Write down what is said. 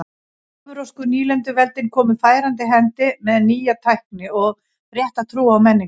Evrópsku nýlenduveldin komu færandi hendi með nýja tækni og rétta trú og menningu.